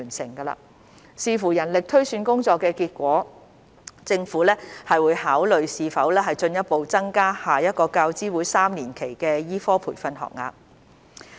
政府會視乎人力推算工作的結果，考慮是否進一步增加下一個教資會3年期的醫科培訓學額。